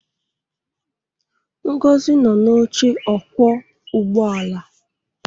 Ngozi nọ n'oche ọkwọ ụgbọ ala